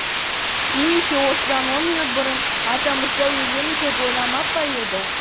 немесе осыдан он минут бұрын атамырза өлемін деп ойламап па еді